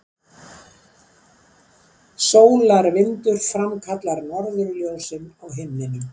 Sólarvindur framkallar norðurljósin á himninum